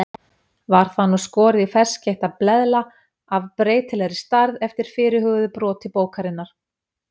Var það nú skorið í ferskeytta bleðla af breytilegri stærð eftir fyrirhuguðu broti bókarinnar.